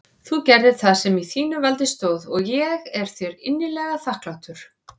Þú gerðir það sem í þínu valdi stóð og ég er þér innilega þakklátur.